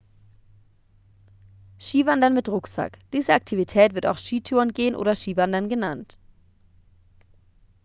skiwandern mit rucksack diese aktivität wird auch skitourengehen oder skiwandern genannt